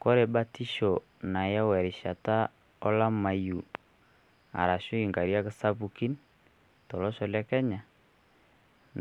Kore batisho nayau erishata olamayu, arashu inkariak sapukin tolosho le Kenya